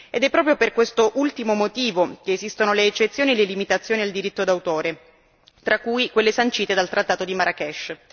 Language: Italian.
Ed è proprio per questo ultimo motivo che esistono le eccezioni e le limitazioni al diritto d'autore, tra cui quelle sancite dal trattato di Marrakech.